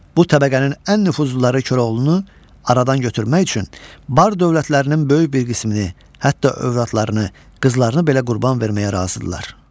Bu təbəqənin ən nüfuzluları Koroğlunu aradan götürmək üçün bar dövlətlərinin böyük bir qismini, hətta övradlarını, qızlarını belə qurban verməyə razıdırlar.